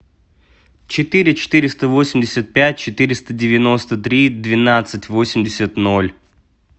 четыре четыреста восемьдесят пять четыреста девяносто три двенадцать восемьдесят ноль